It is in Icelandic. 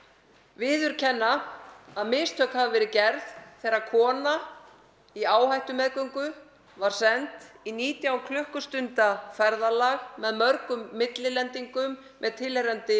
viðurkenna að mistök hafi verið gerð þegar kona í áhættumeðgöngu var send í nítján klukkustunda ferðalag með mörgum millilendingum með tilheyrandi